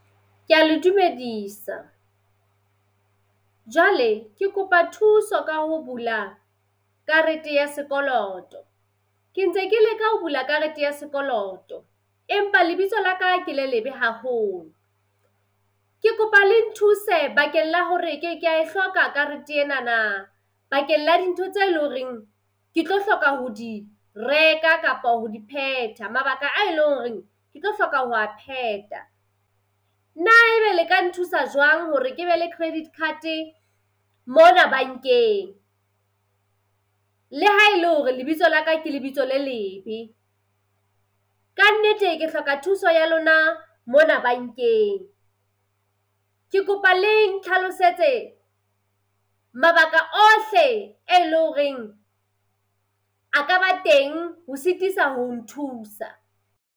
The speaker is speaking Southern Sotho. Kea le dumedisa. Jwale ke kopa thuso ka ho bula karete ya sekoloto. Ke ntse ke leka ho bula karete ya sekoloto, empa lebitso laka ke le lebe haholo. Ke kopa le nthuse bakeng la hore ke kea e hloka karete enana bakeng la dintho tse lo reng ke tlo hloka ho di reka kapa ho di phetha mabaka a eleng horeng ke tlo hloka ho a phetha. Na ebe le ka nthusa jwang hore ke be le credit card-e mona bankeng le ha ele hore lebitso la ka ke lebitso le lebe? Kannete ke hloka thuso ya lona mona bankeng. Ke kopa le nhlalosetse mabaka ohle e leng horeng a ka ba teng ho sitisa ho nthusa.